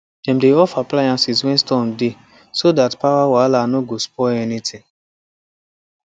dem dey off appliances when storm dey so that power wahala no go spoil anything